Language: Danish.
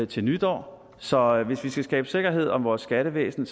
til nytår så hvis vi skal skabe sikkerhed om vores skattevæsen